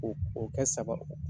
k'o k'o kɛ sagaw